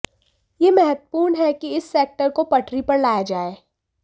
यह महत्त्वपूर्ण है कि इस सेक्टर को पटरी पर लाया जाए